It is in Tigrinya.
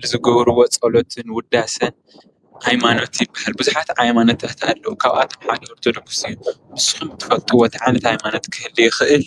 ንዝገበርዎ ፀሎትን ውዳሰን ሃይማኖት ይበሃል፡፡ ብዙሓት ሃይማኖታት ኣለዉ፡፡ ካብኣቶም ሓደ ኦርቶዶክስ እዩ፡፡ ንስኹም ትፈልጥዎ እንታይ ዓይነት ሃይማኖት ክህሊ ይኽእል?